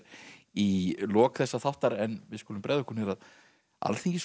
í lok þessa þáttar en við skulum bregða okkur niður að